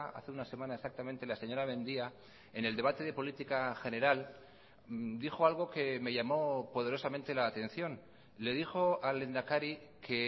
hace una semana exactamente la señora mendia en el debate de política general dijo algo que me llamo poderosamente la atención le dijo al lehendakari que